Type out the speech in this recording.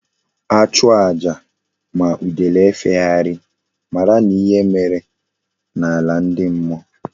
A chụọ aja ma udele efegharighi mara na ihe mere na ala ndi mmuo